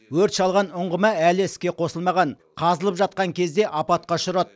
өрт шалған ұңғыма әлі іске қосылмаған қазылып жатқан кезде апатқа ұшырады